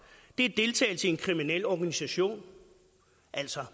det er deltagelse i en kriminel organisation altså